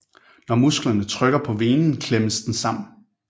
Når musklerne trykker på venen klemmes den sammen